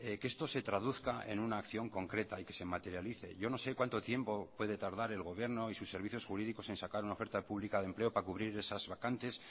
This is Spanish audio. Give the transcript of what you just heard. que esto se traduzca en una acción concreta y que se materialice yo no sé cuánto tiempo puede tardar el gobierno y sus servicios jurídicos en sacar una oferta pública de empleo para cubrir esas vacantes